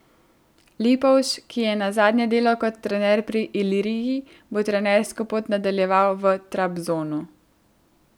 Lipovž, ki je nazadnje delal kot trener pri Iliriji, bo trenersko pot nadaljeval v Trabzonu.